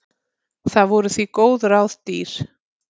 Það voru því góð ráð dýr.